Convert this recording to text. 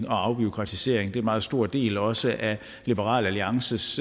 og afbureaukratisering det er en meget stor del også af liberal alliances